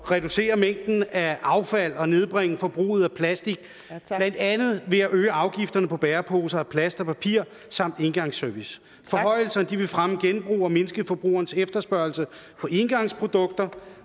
reducere mængden af affald og nedbringe forbruget af plastik blandt andet ved at øge afgifterne på bæreposer af plast og papir samt engangsservice forhøjelserne vil fremme genbrug og mindske forbrugerens efterspørgsel på engangsprodukter